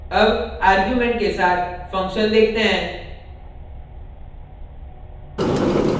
अब आर्गुमेंट के साथ फंक्शन देखते हैं